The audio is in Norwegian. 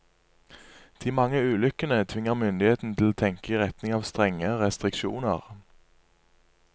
De mange ulykkene tvinger myndighetene til å tenke i retning av strengere restriksjoner.